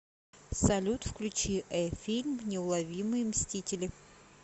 салют включи э фильм неуловимые мстители